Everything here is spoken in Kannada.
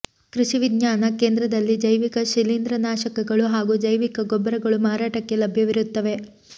ಕೃಷಿ ವಿಜ್ಞಾನ ಕೇಂದ್ರದಲ್ಲಿ ಜೈವಿಕ ಶಿಲೀಂದ್ರನಾಶಕಗಳು ಹಾಗೂ ಜೈವಿಕ ಗೊಬ್ಬರಗಳು ಮಾರಾಟಕ್ಕೆ ಲಭ್ಯವಿರುತ್ತವೆ